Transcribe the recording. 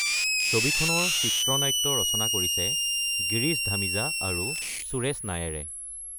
ছবিখনৰ চিত্ৰনাট্য ৰচনা কৰিছে গিৰীশ ধামিজা আৰু সুৰেশ নায়েৰে।